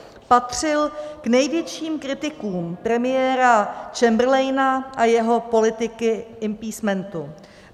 Patřil k největším kritikům premiéra Chamberlaina a jeho politiky appeasementu.